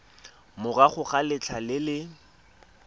morago ga letlha le le